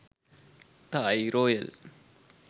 thai royal